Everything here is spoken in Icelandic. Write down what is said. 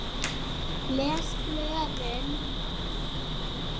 Les blöðin.